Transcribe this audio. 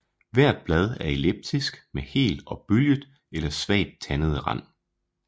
Hvert bladt er elliptisk med hel og bølget eller svagt tandet rand